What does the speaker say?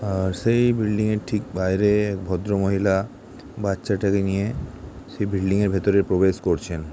আর সেই বিল্ডিং ঠিক বাইরে এক ভদ্র মহিলা বাচ্চাটাকে নিয়ে সেই বিল্ডিং - এর ভেতরে প্রবেশ করছেন ।